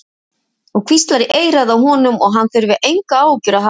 Og hvíslar í eyrað á honum að hann þurfi engar áhyggjur að hafa.